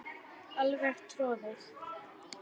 Alveg troðið.